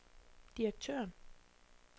direktøren